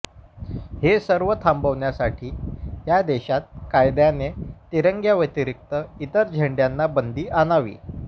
हे सर्व थांबवण्यासाठी या देशात कायद्याने तिरंग्याव्यतिरिक्त इतर झेंड्यांना बंदी आणावी